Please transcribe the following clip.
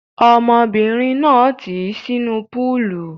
Ọmọbìnrin náà tì í sínú púúlù.